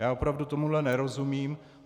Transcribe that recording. Já opravdu tomuhle nerozumím.